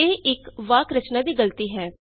ਇਹ ਇਕ ਵਾਕ ਰਚਨਾ ਦੀ ਗਲਤੀ ਹੈ